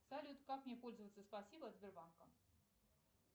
салют как мне пользоваться спасибо от сбербанка